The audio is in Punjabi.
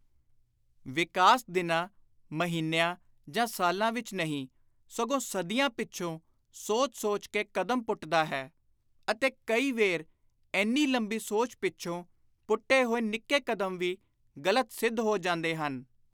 ਵਿਕਾਸ ਦਿਨਾਂ, ਮਹੀਨਿਆਂ ਜਾਂ ਸਾਲਾਂ ਵਿਚ ਨਹੀਂ ਸਗੋਂ ਸਦੀਆਂ ਪਿੱਛੋਂ ਸੋਚ ਸੋਚ ਕੇ ਕਦਮ ਪੁੱਟਦਾ ਹੈ ਅਤੇ ਕਈ ਵੇਰ ਏਨੀ ਲੰਮੀ ਸੋਚ ਪਿੱਛੋਂ ਪੁੱਟੇ ਹੋਏ ਨਿੱਕੇ ਕਦਮ ਵੀ ਗ਼ਲਤ ਸਿੱਧ ਹੋ ਜਾਂਦੇ ਹਨ।